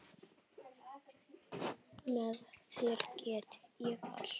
Með þér get ég allt.